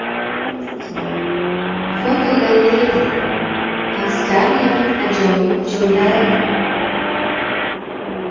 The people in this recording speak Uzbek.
Fotogalereya: Avstraliyaning ajoyib cho‘llari.